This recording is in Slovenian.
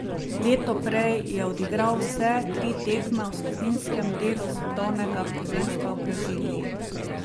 Leto prej je odigral vse tri tekme v skupinskem delu svetovnega prvenstva v Braziliji.